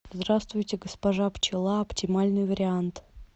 здравствуйте госпожа пчела оптимальный вариант